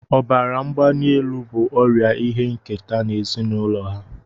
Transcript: Ọbara mgbali elu bụ ọrịa ihe nketa n'ezinụlọ ha